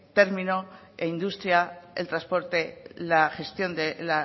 término e industria el transporte la gestión de